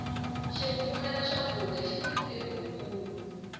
xikufumeta swakudya xini ntirho wu kulu